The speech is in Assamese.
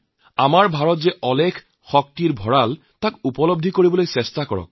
চাৰে চাৰিশতকৈ অধিক জিলাত ৰাতি কটোৱাৰো অভিজ্ঞতা হৈছে